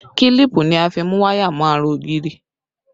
Kílípù ni a fi mú waya mọ ara ògiri